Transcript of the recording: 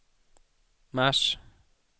mars